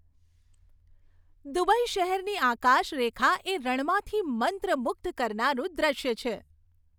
Dubai શહેરની આકાશરેખા એ રણમાંથી મંત્રમુગ્ધ કરનારું દ્રશ્ય છે.